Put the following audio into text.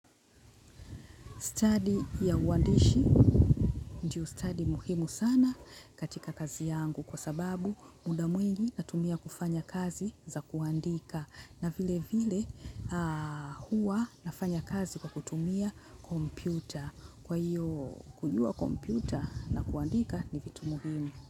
Stadi ya uandishi ndio stadi muhimu sana katika kazi yangu kwa sababu muda mwingi natumia kufanya kazi za kuandika na vile vile huwa nafanya kazi kwa kutumia kompyuta. Kwa hiyo kujua kompyuta na kuandika ni vitu muhimu.